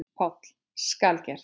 PÁLL: Skal gert!